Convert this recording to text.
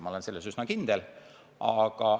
Ma olen selles üsna kindel.